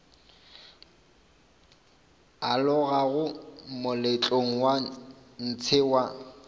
alogago moletlong wa ntshe wa